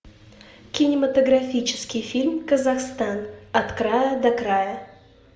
кинематографический фильм казахстан от края до края